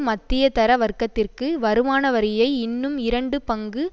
மத்தியதர வர்க்கத்திற்கு வருமான வரியை இன்னும் இரண்டு பங்கு